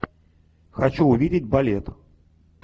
хочу увидеть балет